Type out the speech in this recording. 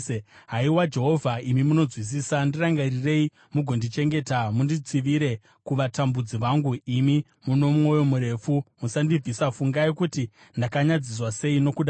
Haiwa Jehovha, imi munonzwisisa; ndirangarirei mugondichengeta. Munditsivire kuvatambudzi vangu. Imi mune mwoyo murefu, musandibvisa; fungai kuti ndakanyadziswa sei nokuda kwenyu.